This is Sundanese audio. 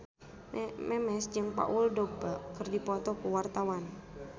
Memes jeung Paul Dogba keur dipoto ku wartawan